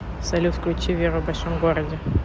салют включи веру в большом городе